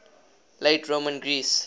late roman greece